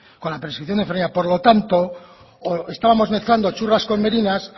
con la prescripción de enfermería por lo tanto estábamos mezclando churras con merinas